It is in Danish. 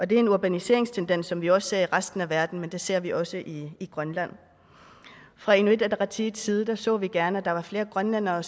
det er en urbaniseringstendens som man også ser i resten af verden men det ser vi også i grønland fra inuit ataqatigiits side så vi gerne at der var flere grønlændere